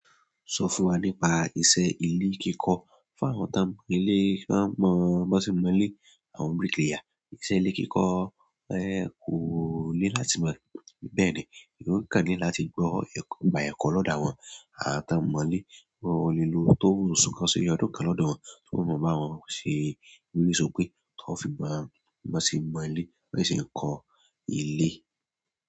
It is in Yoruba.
Sọ fún wa nípa iṣẹ́ ilé kíkọ́. Fún àwọn tí a mọ ilé, t'ọ́n mọ̀ọ́ b'ọ́n sé ń mọlé àwọn bricklayer. Ìṣe ilé kíkọ ẹ́ kò lé láti mọ̀ọ́ bẹ́ẹ̀ ni, yóò kàn ní láti gbọ́ ẹ̀kọ́, gba ẹ̀kọ́ lọ́dà wọn, àti a mọ̀ọ́ ilé gbọ́ olùló tó sún kán sí ọdún kan lọ́dọ̀ wọn, tó mọ̀ọ́ bá wọn ṣe wírí sókè tó fi máa lọ sí mọ̀ọ́ ilé, báyìí ṣe ń kọ ilé.